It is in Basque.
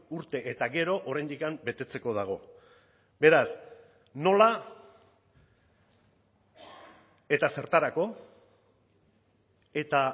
urte eta gero oraindik betetzeko dago beraz nola eta zertarako eta